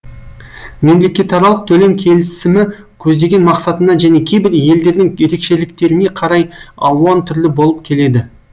мемлекетаралық төлем келісімі көздеген мақсатына және кейбір елдердің ерекшеліктеріне қарай алуан түрлі болып келеді